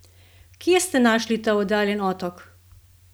Kje ste našli ta oddaljeni otok?